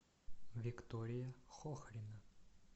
виктория хохрина